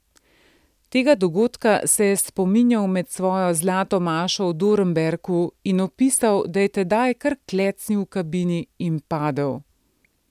Tega dogodka se je spominjal med svojo zlato mašo v Dornberku in opisal, da je tedaj kar klecnil v kabini in padel.